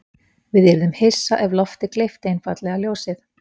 Við yrðum hissa ef loftið gleypti einfaldlega ljósið.